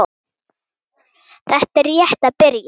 Þetta er rétt að byrja.